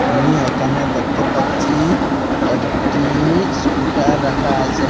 আমি একানে দেকতে পাচ্চি একটি স্কুটার রাকা আচে।